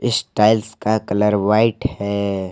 इस टाइल्स का colour white है।